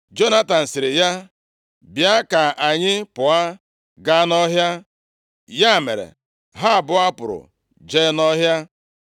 Jonatan sịrị ya, “Bịa ka anyị pụọ gaa nʼọhịa.” Ya mere, ha abụọ pụrụ jee nʼọhịa.